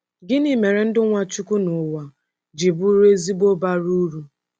Gịnị mere ndụ Nwachukwu n’ụwa ji bụrụ ezigbo bara uru?